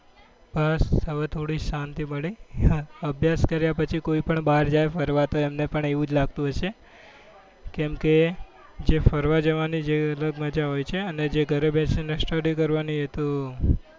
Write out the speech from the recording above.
બસ હવે થોડી શાંતિ મળી અભ્યાસ કાર્ય પછી કોઈ પણ બાર જાય ફરવા તો એમને પણ એવું જ લાગતું હોયછે કેમ કે જે ફરવા જવા ની એ અલગ મજા હોય છે અને જે ઘરે બેસી ને study કરવા ની તો